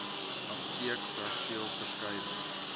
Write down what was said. apteekperseelverskuiwing